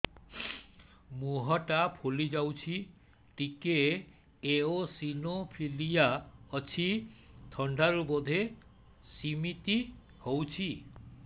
ମୁହଁ ଟା ଫୁଲି ଯାଉଛି ଟିକେ ଏଓସିନୋଫିଲିଆ ଅଛି ଥଣ୍ଡା ରୁ ବଧେ ସିମିତି ହଉଚି